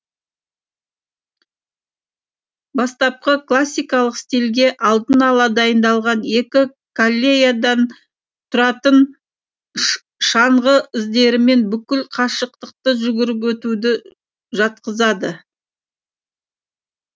бастапқы классикалық стилге алдын ала дайындалған екі коллеядан тұратын шаңғы іздерімен бүкіл қашықтықты жүгіріп өтуді жатқызады